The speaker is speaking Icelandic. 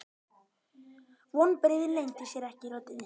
Vonbrigðin leyndu sér ekki í röddinni.